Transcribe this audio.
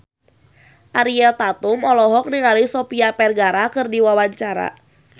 Ariel Tatum olohok ningali Sofia Vergara keur diwawancara